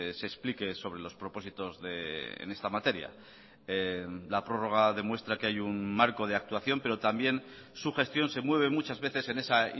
se explique sobre los propósitos en esta materia la prórroga demuestra que hay un marco de actuación pero también su gestión se mueve muchas veces en esa